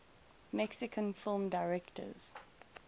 mexican film directors